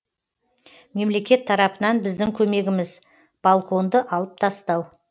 мемлекет тарапынан біздің көмегіміз балконды алып тастау